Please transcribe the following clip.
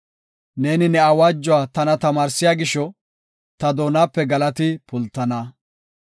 Neeni ne awaajuwa tana tamaarsiya gisho, ta doonape galati pultana.